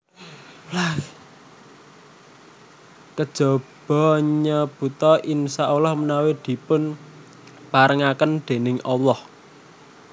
Kejaba nyebuta InsyaaAlah menawi dipun parengaken déning Allah